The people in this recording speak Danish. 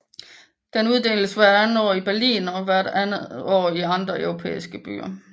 Den uddeles hvert andet år i Berlin og hvert andet år i andre europæiske byer